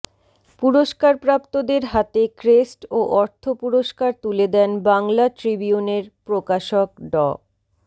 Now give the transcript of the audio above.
পুরস্কারপ্রাপ্তদের হাতে ক্রেস্ট ও অর্থ পুরস্কার তুলে দেন বাংলা ট্রিবিউনের প্রকাশক ড